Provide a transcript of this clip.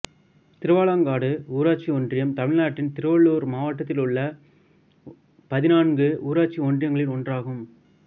திருவாலங்காடு ஊராட்சி ஒன்றியம் தமிழ்நாட்டின் திருவள்ளூர் மாவட்டத்தில் உள்ள பதினான்கு ஊராட்சி ஒன்றியங்களில் ஒன்றாகும்